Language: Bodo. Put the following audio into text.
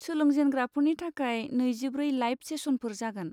सोलोंजेनग्राफोरनि थाखाय नैजिब्रै लाइभ सेसनफोर जागोन।